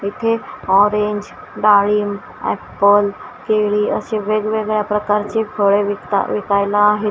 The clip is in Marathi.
इथे ऑरेंज डाळिंब एप्पल केळी असे वेगवेगळ्या प्रकारचे फळे विकता विकायला आहेत.